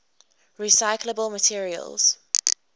recyclable materials